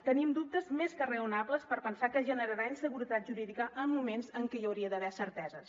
tenim dubtes més que raonables per pensar que generarà inseguretat jurídica en moments en què hi hauria d’haver certeses